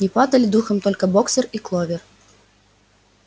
не падали духом только боксёр и кловер